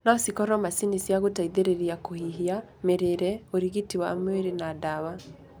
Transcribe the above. No cikoro macini cia gũteithĩrĩria kũhihia, mĩrĩre, ũrigiti wa mwĩrĩ na ndawa.